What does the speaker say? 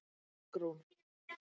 Bergrún